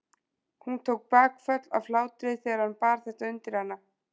Hún tók bakföll af hlátri þegar hann bar þetta undir hana.